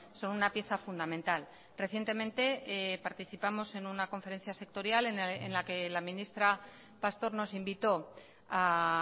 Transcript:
son una pieza fundamental recientemente participamos en una conferencia sectorial en la que la ministra pastor nos invitó a